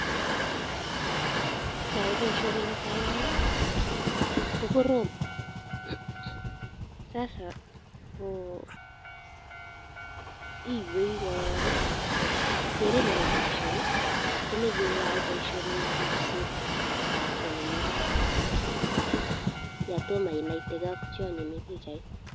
Keyai boishoni netai iman kokorom sasa ko iywei korong, keret nebo boishoni komoche keyoe boishoni en ribsetabke nemii barak yoon toom inaiteke ak tionyi mii pichait.